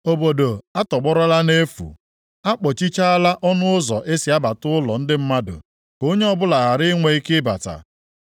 Obodo atọgbọrọla nʼefu; a kpọchichaala ọnụ ụzọ e si abata ụlọ ndị mmadụ ka onye ọbụla ghara inwe ike ịbata.